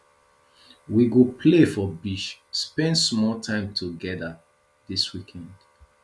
we go play for beach spend small time togeda dis weekend